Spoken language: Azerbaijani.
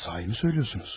Doğru mu deyirsiniz?